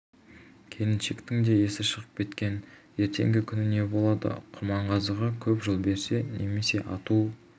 келіншектің де есі шығып кеткен ертеңгі күні не болады құрманғазыға көп жыл берсе немесе ату